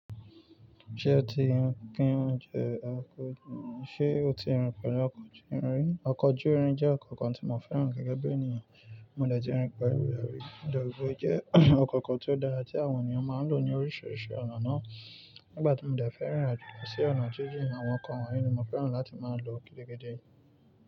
Ṣé o ti ríi pé óúnjẹ ọkọ̀ júrin? Ṣé o ti rin pẹ̀lú ọkọ̀ júrin rí? Ọkọ̀ júrin jẹ́ ọkọ̀ kan tí mò fẹ́ràn gẹ́gẹ́ bí ènìyàn. Mò dẹ̀ ti rin pẹ̀lú rẹ̀ rí. Mo dẹ̀ ro pé o jẹ́ ọkọ̀ kan tó dára tí àwọn ènìyàn máa ń lò ní oríṣiríṣi ọ̀nà náà. Nígbà tí mò ń dẹ̀ fẹ́ rin irinàjò lọ sí ọ̀nà jíjìn, àwọn ọkọ̀ wọ̀nyí ni mò fẹ́ràn láti máa lò gidigidi.